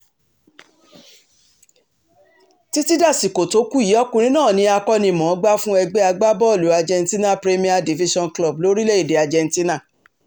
títí dasìkò tó kù yìí ọkùnrin náà ní akóni-mọ̀-ọ́n-gbà fún ẹgbẹ́ agbábọ́ọ̀lù argentina rè premier division club lórílẹ̀‐èdè argentina